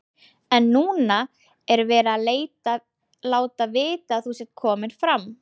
En núna er verið að láta vita að þú sért kominn fram.